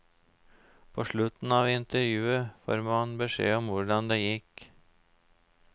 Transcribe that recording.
På slutten av intervjuet får man beskjed om hvordan det gikk.